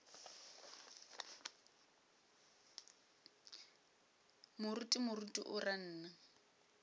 moruti moruti o ra nna